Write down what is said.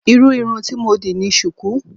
Irú irun tí mo dì ni sùkú.